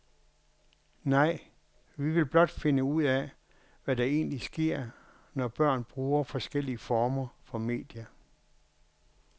Nej, vi vil blot finde ud af, hvad der egentlig sker, når børn bruger forskellige former for medier.